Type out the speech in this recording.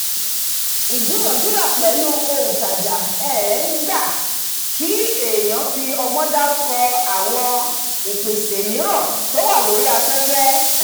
ìdúnadúrà pẹ̀lú òǹtajà um gba kí èèyàn fi ọgbọ́n dárúkọ àwọn ìpèsè mìíràn tó wà lórí afẹ́fẹ́